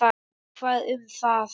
En hvað um það!